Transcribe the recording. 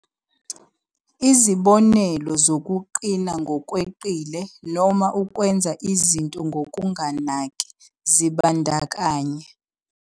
Izibonelo zokuqina ngokweqile noma ukwenza izinto ngokunganaki zibandakanya.